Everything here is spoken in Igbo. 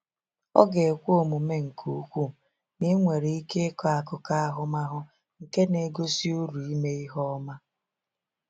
Ọ ga-ekwe omume nke ukwuu na ị nwere ike ịkọ akụkọ ahụmahụ nke na-egosi uru ime ihe ọma.